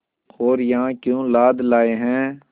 और यहाँ क्यों लाद लाए हैं